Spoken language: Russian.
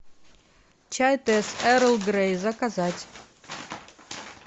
чай тесс эрл грей заказать